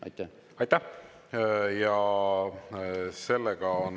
Aitäh!